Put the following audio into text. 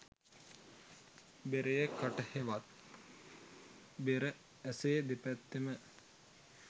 බෙරයේ කට හෙවත් බෙර ඇසේ දෙපැත්තම